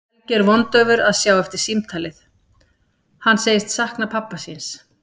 Helgi er vondaufur að sjá eftir símtalið, hann segist sakna pabba síns.